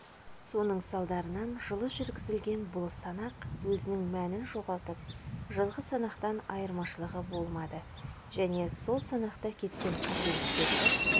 соның салдарынан жылы жүргізілген бұл санақ өзінің мәнін жоғалтып жылғы санақтан айырмашылығы болмады және сол санақта кеткен қателіктерді